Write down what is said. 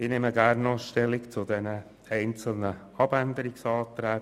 Ich nehme gerne noch zu den einzelnen Planungserklärungen Stellung.